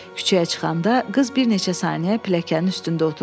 Küçəyə çıxanda qız bir neçə saniyə pilləkənin üstündə oturdu.